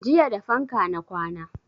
Jiya da fanka na kwana